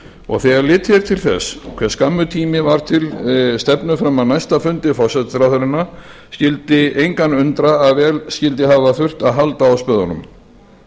og þegar litið er til þess hve skammur tími var til stefnu fram að næsta fundi forsætisráðherranna skyldi engan undra að vel skyldi hafa þurft að halda á spöðunum